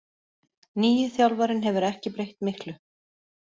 Nýi þjálfarinn hefur ekki breytt miklu